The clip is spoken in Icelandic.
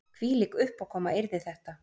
Hvílík uppákoma yrði þetta